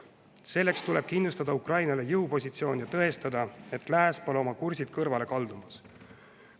Selleks tuleb kindlustada Ukrainale jõupositsioon ja tõestada, et lääs pole oma kursilt kõrvale kaldumas.